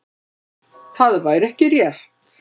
Það væri ekki rétt.